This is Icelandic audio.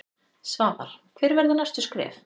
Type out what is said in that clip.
Svavar: Hver verða næstu skref?